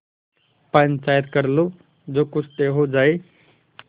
पंचायत कर लो जो कुछ तय हो जाय